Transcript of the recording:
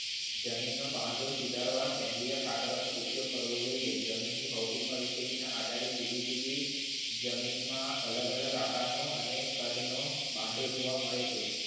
જમીનનો બાંધો સુધારવા સેન્દ્રીય ખાતરોનો ઉપયોગ કરવો જોઈએ જમીનની ભૌતિક પરિસ્થિતિ ના આધારે જુદી જુદી જમીનમાં અલગ અલગ આકારનો અને બાંધો જોવા મળે છે.